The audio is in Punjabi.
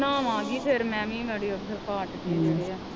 ਬਨਾਵਾ ਕੀ ਫਿਰ ਮੈ ਵੀ ਗਾੜੀ ਉੱਥੇ ਰਿਕਾਰਡ ਨਹੀਂ ਚੜਿਆ